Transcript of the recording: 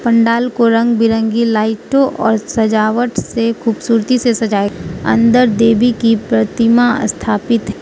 पंडाल को रंग बिरंगी लाइटों और सजावट से खूबसूरती से सजाए अंदर देवी की प्रतिमा स्थापित--